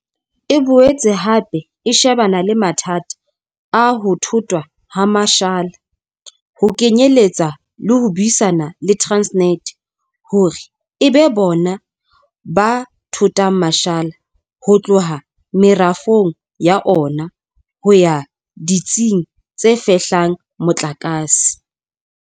E boetse hape e shebana le mathata a ho thothwa ha mashala, ho kenyeletsa le ho buisana le Transnet hore e be bona ba thothang mashala ho tloha merafong ya ona ho ya ditsing tse fehlang motlakase.